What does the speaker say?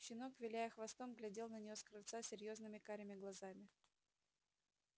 щенок виляя хвостом глядел на неё с крыльца серьёзными карими глазами